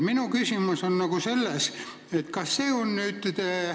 Minu küsimus on selline.